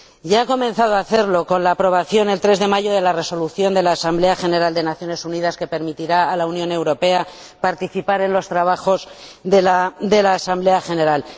Ya ha comenzado a hacerlo con la aprobación, el 3 de mayo, de la Resolución de la Asamblea General de las Naciones Unidas que permitirá a la Unión Europea participar en los trabajos de la Asamblea General.